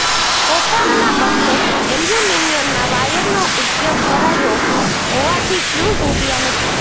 કોપરના બદલે એલ્યુમિનિયમના વાયરનો ઉપયોગ કરાયો હોવાથી ફ્યૂઝ ઉડયા નથી